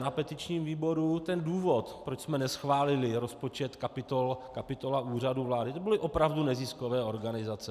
Na petičním výboru ten důvod, proč jsme neschválili rozpočet kapitola Úřadu vlády, to byly opravdu neziskové organizace.